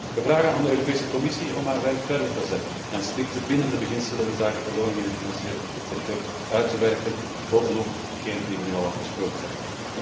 Wij vragen aan de Europese Commissie om haar werk voort te zetten en strikte bindende beginselen inzake beloning in de financiële sector uit te werken bovenop degene die we nu al afgesproken hebben.